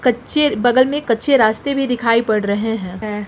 बगल में कच्चे रास्ते भी दिखाई पड़ रहे हैं।